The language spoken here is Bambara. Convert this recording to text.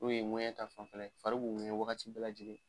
N'o ye ŋɔɲɛ ta fanfɛla ye, fari b'u ŋɛɲɛ wagati bɛɛ lajɛlen